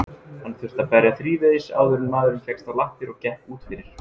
Hann þurfti að berja þrívegis áður en maðurinn fékkst á lappir og gekk út fyrir.